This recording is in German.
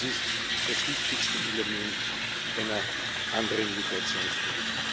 Das ist das wichtigste Element einer anderen Migrationspolitik.